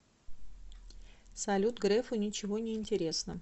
салют грефу ничего не интересно